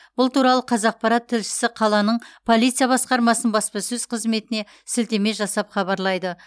бұл туралы қазақпарат тілшісі қаланың полиция басқармасының баспасөз қызметіне сілтеме жасап хабарлайды